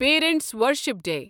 parents worship day